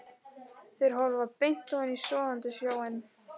Þeir horfa beint ofan í sogandi sjóinn.